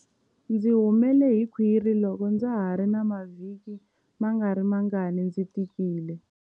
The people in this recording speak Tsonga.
Ndzi humele hi khwiri loko ndza ha ri na mavhiki mangarimangani ndzi tikile.